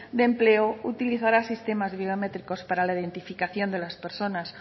de empleo utilizará sistemas biométricos para la identificación de las personas